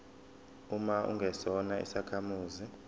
uma ungesona isakhamuzi